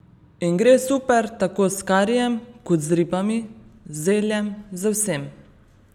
In gre super tako s karijem kot z ribami, z zeljem, z vsem!